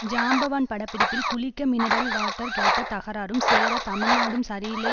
ஜாம்பவான் பட பிடிப்பில் குளிக்க மினரல் வாட்டர் கேட்ட தகராறும் சேர தமிழ்நாடும் சரியில்லை